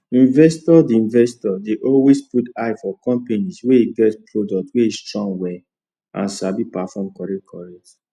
investors dey investors dey always put eye for companies wey get products wey strong well and sabi perform correctcorrect